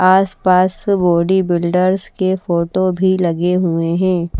आस-पास बॉडीबिल्डर्स के फोटो भी लगे हुए हैं।